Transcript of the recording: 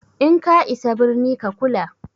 In ka isa birni ka kula!